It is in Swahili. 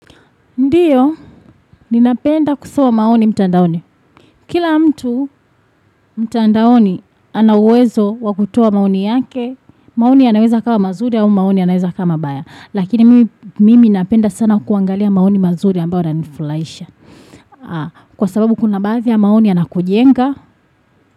Ndiyo, ninapenda kusawa maoni mtandaoni. Kila mtu mtandaoni anauwezo wa kutua maoni yake, maoni anaweza kawa mazuri au maoni anaweza kama baya. Lakini mimi napenda sana kuangalia maoni mazuri ambao na nifulaisha. Kwa sababu kuna badhi maoni anakujenga.